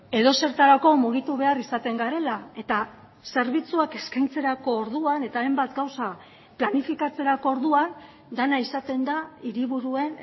edozertarako mugitu behar izaten garela eta zerbitzuak eskaintzerako orduan eta hainbat gauza planifikatzerako orduan dena izaten da hiriburuen